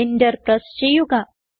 enter press ചെയ്യുക